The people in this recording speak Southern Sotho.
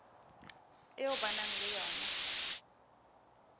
eo ba nang le yona